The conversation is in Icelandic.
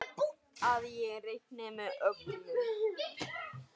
Að ég reikni með öllu.